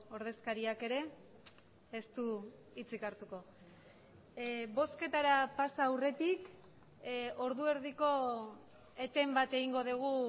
ordezkariak ere ez du hitzik hartuko bozketara pasa aurretik ordu erdiko eten bat egingo dugu